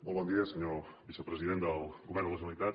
molt bon dia senyor vicepresident del govern de la generalitat